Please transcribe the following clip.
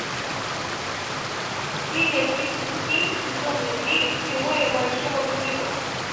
серия тридцать семь сезона девять теория большого взрыва